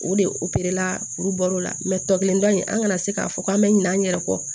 O de operela kuru bɔr'o la tɔ kelen dɔ in an kana se k'a fɔ k'an bɛ ɲinɛ an yɛrɛ kɔ